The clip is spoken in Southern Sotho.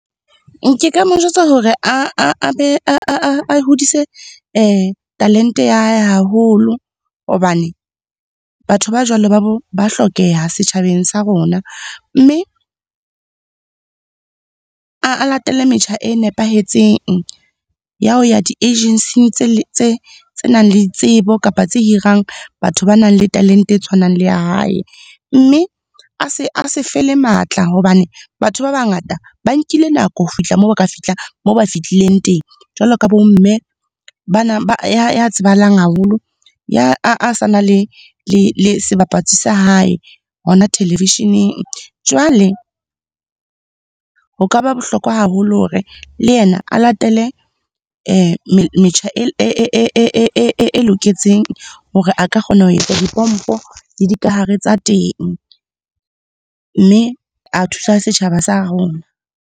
Ke ka mo jwetsa hore a be, a hodise talente ya hae haholo hobane, batho ba jwalo ba hlokeha setjhabeng sa rona. Mme a latele metjha e nepahetseng, ya ho ya di-agency tse nang le tsebo kapa tse hirang batho ba nang le talente e tshwanang le ya hae. Mme a se fele matla hobane batho ba bangata ba nkile nako ho fihla moo ba ka fihla, moo ba fihlileng teng. Jwalo ka bomme bana ba ya tsebahalang haholo, a sa na le sebapatsi sa hae hona televisheneng. Jwale, ho ka ba bohlokwa haholo hore le yena a latele metjha e loketseng hore a ka kgona ho etsa dipompo le dikahare tsa teng. Mme a thusa setjhaba sa rona.